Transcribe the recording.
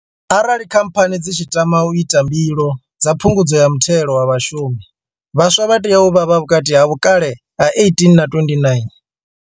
Arali Khamphani dzi tshi tama u ita mbilo dza Phungudzo ya Muthelo wa Vhashumi, vhaswa vha tea u vha vhukati ha vhukale ha 18 na 29.